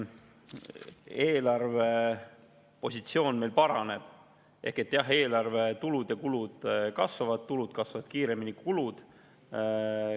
Eelarvepositsioon meil paraneb ehk jah, eelarve tulud ja kulud kasvavad, tulud kasvavad kiiremini kui kulud.